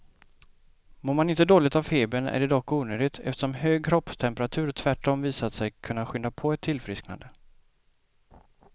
Mår man inte dåligt av febern är det dock onödigt, eftersom hög kroppstemperatur tvärtom visat sig kunna skynda på ett tillfrisknande.